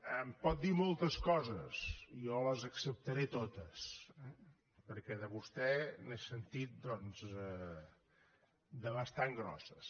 em pot dir moltes coses jo les acceptaré totes eh perquè de vostè n’he sentit doncs de bastant grosses